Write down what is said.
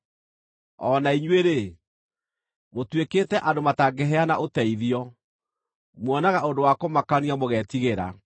O na inyuĩ-rĩ, mũtuĩkĩte andũ matangĩheana ũteithio; muonaga ũndũ wa kũmakania mũgetigĩra.